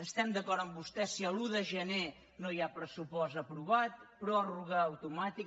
estem d’acord amb vostè si l’un de gener no hi ha pressupost aprovat pròrroga automàtica